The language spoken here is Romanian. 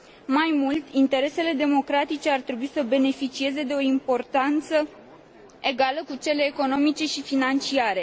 Mai mult, interesele democratice ar trebui să beneficieze de o importanță egală cu cele economice și financiare.